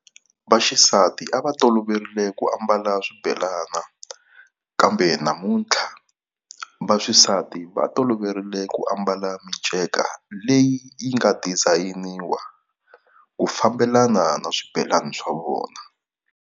Vaxisati a va toloverile ku ambala swibelani kambe, namuntlha vaxisati va toloverile ku ambala miceka leyi yi nga design-iwa ku fambelana na swibelani swa vona.